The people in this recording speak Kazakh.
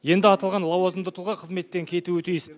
енді аталған лауазымды тұлға қызметтен кетуі тиіс